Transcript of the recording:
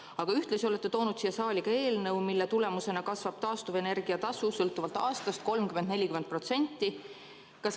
Aga ühtlasi olete toonud siia saali eelnõu, mille tulemusena kasvab taastuvenergia tasu sõltuvalt aastast 30–40%.